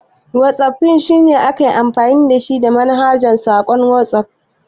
Whatsaffin shine aikin amfani da manhajar saƙon Watsuf.